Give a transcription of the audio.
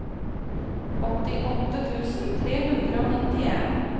åttiåtte tusen tre hundre og nittien